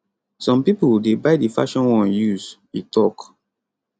some pipo dey buy di fashion one use e tok